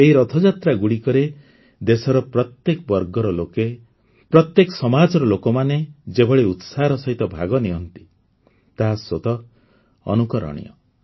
ଏହି ରଥଯାତ୍ରାଗୁଡ଼ିକରେ ଦେଶର ପ୍ରତ୍ୟେକ ବର୍ଗର ଲୋକ ପ୍ରତ୍ୟେକ ସମାଜର ଲୋକମାନେ ଯେଭଳି ଉତ୍ସାହର ସହିତ ଭାଗ ନିଅନ୍ତି ତାହା ସ୍ୱତଃ ଅନୁକରଣୀୟ